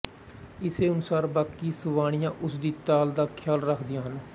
ਇਸੇ ਅਨੁਸਾਰ ਬਾਕੀ ਸੁਵਾਣੀਆਂ ਉਸ ਦੀ ਤਾਲ ਦਾ ਖਿਆਲ ਰੱਖਦੀਆਂ ਹਨ